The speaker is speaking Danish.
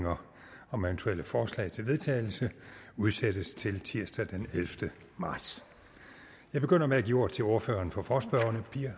om eventuelle forslag til vedtagelse udsættes til tirsdag den ellevte marts jeg begynder med at give ordet til ordføreren for forespørgerne